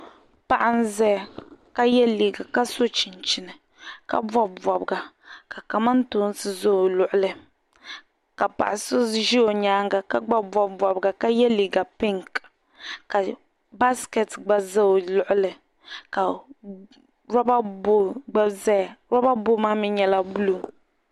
paɣa n-zaya ka ye liiga ka so chinchini ka bɔbi bɔbiga ka kamantoosi za o luɣili ka paɣa so ʒi o nyaaŋga ka gba bɔbi bɔbiga ka ye liiga piŋki ka baasikɛti gba za o luɣili ka loba booli gba zaya loba booli maa mi nyɛla buluu